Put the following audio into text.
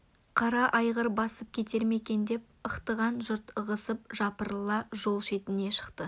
қара айғыр басып кетер ме екен деп ықтаған жұрт ығысып жапырыла жол шетіне шықты